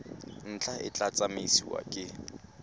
ntlha e tla tsamaisiwa ke